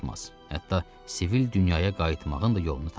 Hətta sivil dünyaya qayıtmağın da yolunu tapar.